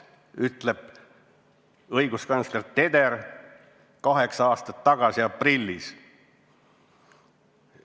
Nii ütles õiguskantsler Teder kaheksa aastat tagasi aprillis.